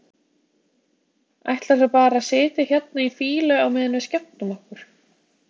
Ætlar þú bara að sitja hérna í fýlu á meðan við skemmtum okkur?